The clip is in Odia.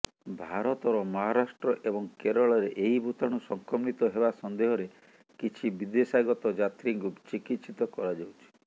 ଭାରତର ମହାରାଷ୍ଟ୍ର ଏବଂ କେରଳରେ ଏହି ଭୁତାଣୁ ସଂକମିତ ହେବା ସନ୍ଦେହରେ କିଛି ବିଦେଶାଗତ ଯାତ୍ରୀଙ୍କୁ ଚିକିତ୍ସିତ କରାଯାଉଛି